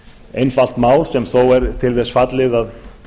einfalt mál sem þó er til þess fallið að